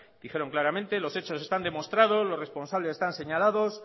dijeron claramente los hechos están demostrados los responsables están señalados